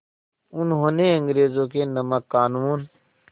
उन्होंने अंग्रेज़ों के नमक क़ानून